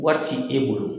Wari ti e bolo